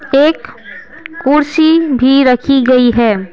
एक कुर्सी भी रखी गई है।